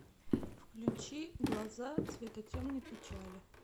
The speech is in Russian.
включи глаза цвета темной печали